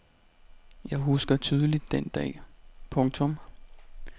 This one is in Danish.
Jeg husker tydeligt den dag. punktum